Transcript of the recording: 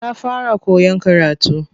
Ta fara koyan karatu.